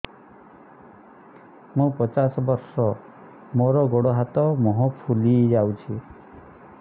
ମୁ ପଚାଶ ବର୍ଷ ମୋର ଗୋଡ ହାତ ମୁହଁ ଫୁଲି ଯାଉଛି